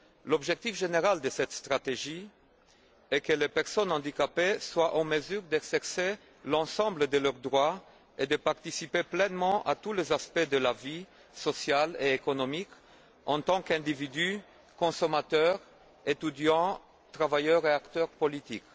L'objectif général de cette stratégie est que les personnes handicapées soient en mesure d'exercer l'ensemble de leurs droits et de participer pleinement à tous les aspects de la vie sociale et économique, en tant qu'individu, consommateur, étudiant, travailleur et acteur politique.